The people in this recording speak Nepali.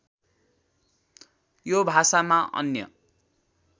यो भाषामा अन्य